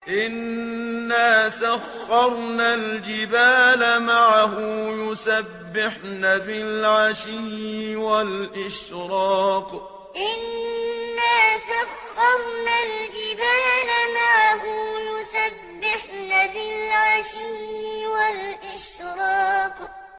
إِنَّا سَخَّرْنَا الْجِبَالَ مَعَهُ يُسَبِّحْنَ بِالْعَشِيِّ وَالْإِشْرَاقِ إِنَّا سَخَّرْنَا الْجِبَالَ مَعَهُ يُسَبِّحْنَ بِالْعَشِيِّ وَالْإِشْرَاقِ